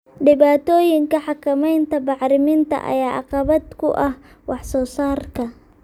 Dhibaatooyinka xakamaynta bacriminta ayaa caqabad ku ah wax soo saarka.